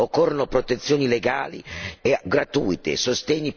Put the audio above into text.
Le donne non devono più sentirsi sole e inascoltate!